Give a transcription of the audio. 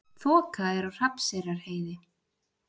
Þoka er á Hrafnseyrarheiði